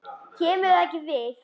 KEMUR ÞAÐ EKKI VIÐ!